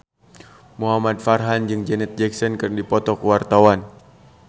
Muhamad Farhan jeung Janet Jackson keur dipoto ku wartawan